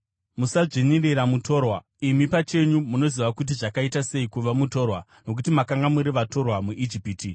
“Musadzvinyirira mutorwa; imi pachenyu munoziva kuti zvakaita sei kuva mutorwa, nokuti makanga muri vatorwa muIjipiti.